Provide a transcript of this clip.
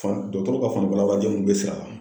Fan dɔgɔtɔrɔ ka fanfɛla den ninnu bɛ